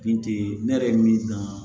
Bin tɛ ne yɛrɛ min na